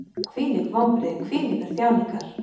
Hvílík vonbrigði, hvílíkar þjáningar!